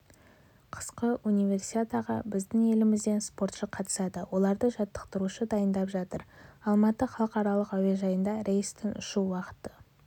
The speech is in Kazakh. қысқы универсиадаға біздің елімізден спортшы қатысады оларды жаттықтырушы дайындап жатыр алматы халықаралық әуежайында рейстің ұшу уақыты